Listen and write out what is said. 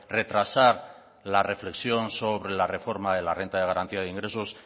retrasar la reflexión sobre la reforma de la renta de garantía de ingresos